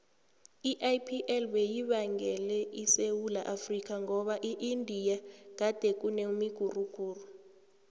iipl beyibangwele esewula afrika ngoba eindia gadekunemiguruguru